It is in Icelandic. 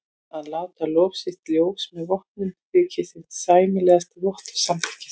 Að láta lof sitt í ljós með vopnum þykir hinn sæmilegasti vottur samþykkis.